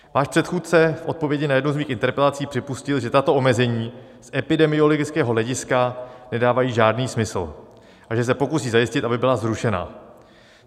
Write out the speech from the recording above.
Váš předchůdce v odpovědi na jednu z mých interpelací připustil, že tato omezení z epidemiologického hlediska nedávají žádný smysl a že se pokusí zajistit, aby byla zrušena.